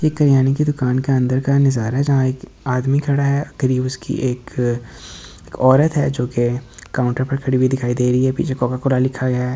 ये किराने की दुकान का अंदर का नजारा है जहाँ एक आदमी खड़ा है करीब उसकी एक औरत है जो कि काउंटर पर खड़ी हुई दिखाई दे रही है पीछे कोका कोला लिखा गया है।